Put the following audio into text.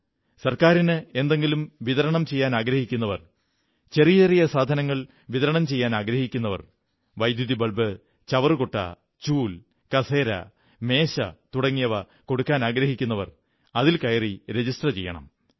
ഗവൺമെന്റിന് എന്തെങ്കിലും വിതരണം ചെയ്യാനാഗ്രഹിക്കുന്നവർ ചെറിയ ചെറിയ സാധനങ്ങൾ വിതരണം ചെയ്യാനാഗ്രഹിക്കുന്നവർ വൈദ്യുതി ബൾബ് ചവറുകുട്ട ചൂൽ കസേര മേശ തുടങ്ങിയവ എത്തിക്കാനാഗ്രഹിക്കുന്നവർ അതിൽ രജിസ്റ്റർ ചെയ്യണം